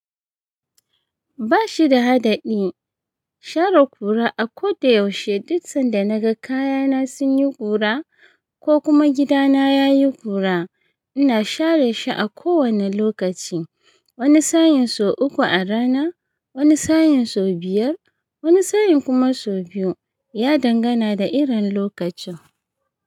Ba shi da haɗaɗɗi. Share ƙura a ko da yaushe. Duksan da naga kayana sun yi ƙura ko kuma gidana yayi ƙura ina share shi a kowane lokaci. Wani sain so uku a rana, wani sain so biyar, wani sain kuma so biyu. Ya dangana da irin lokacin.